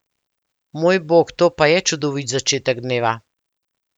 Mojbog, to pa je čudovit začetek dneva!